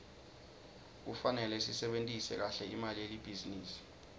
kufarele sisebentise kahle imali yelibhizinisi